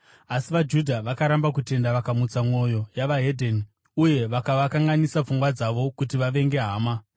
Asi vaJudha vakaramba kutenda vakamutsa mwoyo yeveDzimwe Ndudzi uye vakavakanganisa pfungwa dzavo kuti vavenge hama.